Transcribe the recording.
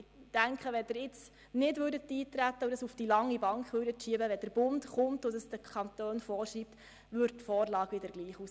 Wenn Sie nun nicht eintreten würden und der Bund anschliessend mit einer Regelung käme, welche es den Kantonen vorschreibt, sähe die Vorlage wieder gleich aus.